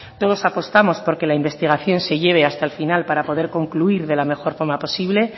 todos apostamos por que la investigación se lleve hasta el final para poder concluir de la mejor forma posible